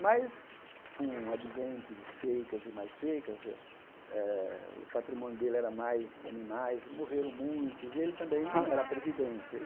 Mas, com o advento de secas e mais secas eh, o patrimônio dele era mais de animais, e morreram muitos, e ele também não era previdente.